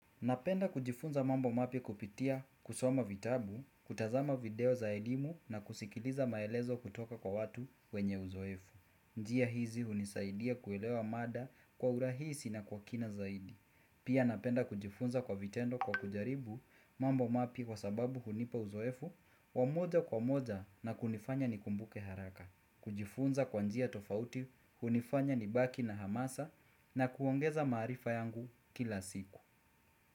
Napenda kujifunza mambo mapya kupitia kusoma vitabu, kutazama video za elimu na kusikiliza maelezo kutoka kwa watu wenye uzoefu. Njia hizi hunisaidia kuelewa mada kwa urahisi na kwa kina zaidi. Pia napenda kujifunza kwa vitendo kwa kujaribu mambo mapya kwa sababu hunipa uzoefu wamoja kwa moja na kunifanya ni kumbuke haraka. Kujifunza kwa njia tofauti hunifanya ni baki na hamasa na kuongeza maarifa yangu kila siku.